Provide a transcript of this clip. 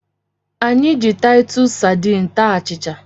Anyị ji azụ Taịtus sadiin taa achịcha.